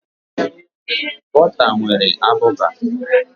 Bọta nwere abụba.